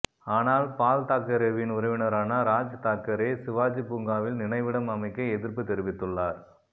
ஆனால் பால்தாக்கரேவின் உறவினரான ராஜ் தாக்கரே சிவாஜி பூங்காவில் நினைவிடம் அமைக்க எதிர்ப்பு தெரிவித்துள்ளார்